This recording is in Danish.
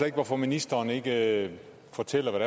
ikke hvorfor ministeren ikke fortæller hvad